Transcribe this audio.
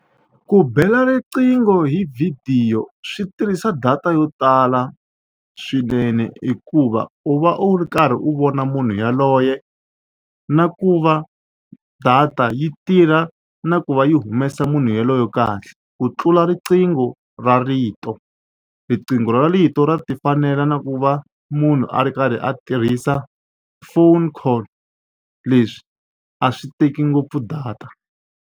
Ku bela riqingho hi vhidiyo swi tirhisa data yo tala swinene hikuva u va u ri karhi u vona munhu yaloye na ku va data yi tirha na ku va yi humesa munhu yelweyo kahle ku tlula riqingho ra rito. Riqingho ra rito ra tifanela na ku va munhu a ri karhi a tirhisa phone call leswi a swi teki ngopfu data.